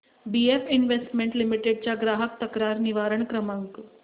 BF investment limited चा ग्राहक तक्रार निवारण क्रमांक